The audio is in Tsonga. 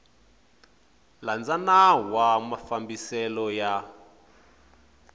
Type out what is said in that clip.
landza nawu wa mafambiselo ya